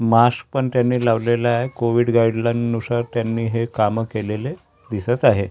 माश्क पण त्यांनी लावलेला आहे कोविड गाईडलाईन्स नुसार त्यांनी हे काम केलेले दिसत आहेत--